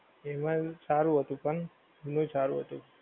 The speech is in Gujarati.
એમ એવું સારું હતું પણ નહીં સારું હતું.